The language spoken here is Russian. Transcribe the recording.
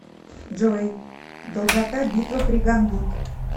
джой долгота битва при гангут